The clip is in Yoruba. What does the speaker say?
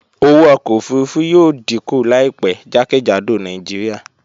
Owó ọkọ̀ òfurufú yóò díkù láìpẹ́ jákèjádò Nàìjíríà